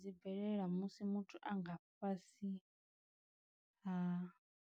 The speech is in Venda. Dzi bvelela musi muthu a nga fhasi ha.